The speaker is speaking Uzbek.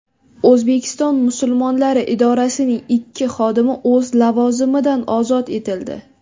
O‘zbekiston musulmonlari idorasining ikki xodimi o‘z lavozimidan ozod etildi.